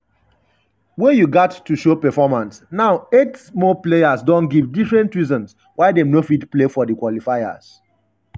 wey you gat to show performance now eight more players don give different reasons why dem no fit play di qualifiers.